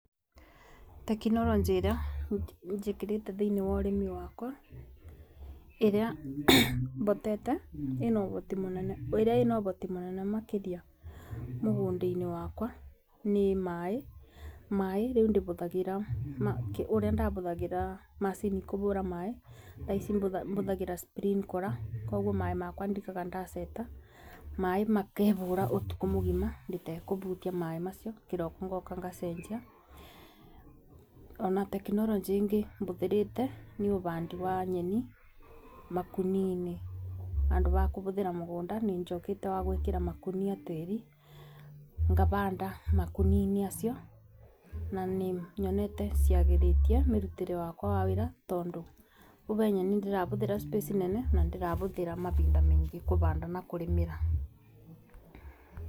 Tekinoronjĩ ĩria njĩkĩrĩte thĩini wa ũrĩmi wakwa ĩrĩa botete ĩna ũhoti mũnene makĩria mũgũnda-inĩ wakwa nĩ maaĩ. Maaĩ rĩu ndibũthagĩra ũrĩa ndabũthagĩra macini kũbũra maaĩ, thaa ici bũthagĩra sprinkler koguo maaĩ makwa ndigaga ndaceta maaĩ makebũra ũtukũ mũgima itekũbutia maaĩ macio kĩroko ngoka ngacenjia. Ona tekonoronjĩ ĩngĩ bũthĩrĩte nĩ ũbandi wa nyeni makũnia-iniĩ bandũ ba kũbũthĩra mũgũnda nĩ njokete wa gwĩkĩra makũnia tĩri ngabanda makonia-inĩ macio, na nĩ nyonete ciagĩritie mĩrutĩre wakwa wa wĩra toindũ tuge nyeni ndĩrabũthĩra space nene na ndĩrabũthĩra mabinda maingĩ kũbanda na kũrĩmĩra.